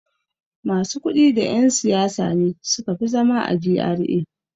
Masu kuɗi da yan' siyasa ne suka fi zama a G.R.A.